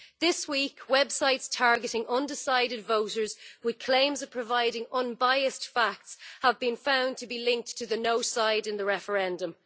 This week, websites targeting undecided voters with claims of providing unbiased facts have been found to be linked to the no' side in the referendum.